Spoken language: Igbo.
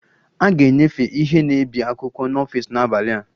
A ga-enyefe ihe na-ebi akwụkwọ n'ọfịs n'abalị a